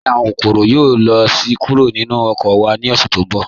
Ǹjẹ́ awọn kòkọ̀rò yóò lọ kúrò ni oko wa ni ọ̀ṣẹ̀ tí nbọ̀?